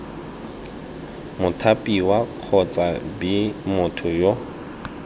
mothapiwa kgotsa b motho yo